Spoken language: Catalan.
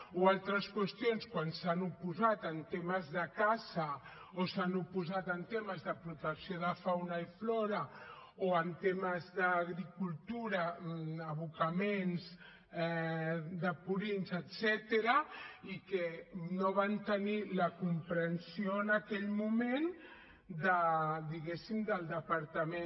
o altres qüestions quan s’han oposat en temes de caça o s’han oposat en temes de protecció de fauna i flora o en temes d’agricultura abocaments de purins etcètera i que no van tenir la comprensió en aquell moment diguem ne del departament